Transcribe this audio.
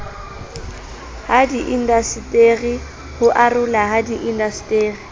hadiindaseteri ho arolwa ha diindaseteri